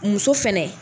Muso fɛnɛ